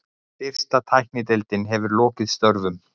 Fyrst tæknideildin hefur lokið störfum.